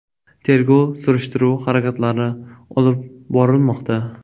Tergov-surishtiruv harakatlari olib borilmoqda.